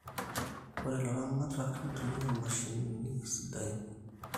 ore ilaramatak nitumia mashinini sadain